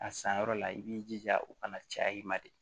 A san yɔrɔ la i b'i jija u kana caya i ma de